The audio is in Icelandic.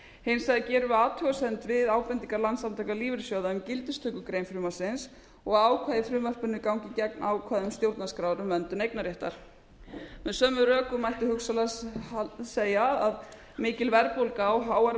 hins vegar gerum við athugasemd við ábendingar landssamtaka lífeyrissjóða um gildistökugrein frumvarpsins og ákvæði í frumvarpinu gangi gegn ákvæðum stjórnarskrár um verndun eignarréttar með sömu rökum mætti hugsanlega segja að mikil verðbólga og háar